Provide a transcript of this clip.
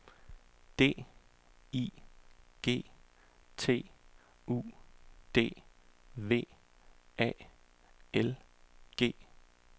D I G T U D V A L G